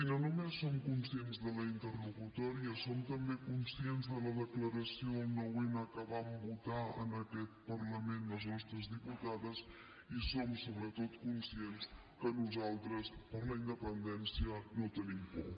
no només som conscients de la interlocutòria som també conscients de la declaració del nou n que van votar en aquest parlament les nostres diputades i som sobretot conscients que nosaltres per la independència no tenim por